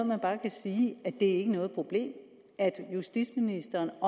man bare kan sige at det ikke er noget problem og at justitsministeren